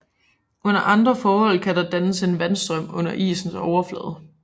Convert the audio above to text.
Under andre forhold kan der dannes en vandstrøm under isens overflade